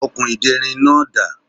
Okùn ìderin náà dà?